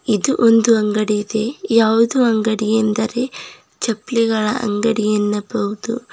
ಇದು ಒಂದು ಅಂಗಡಿ ಇದೆ ಯಾವುದು ಅಂಗಡಿ ಎಂದರೆ ಚಪ್ಲಿಗಳ ಅಂಗಡಿ ಎನ್ನಬಹುದು.